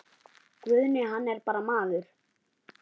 Guðni hann er bara maður.